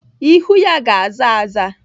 Ihu ya ga-aza aza.